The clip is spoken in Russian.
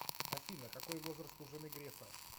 афина какой возраст у жены грефа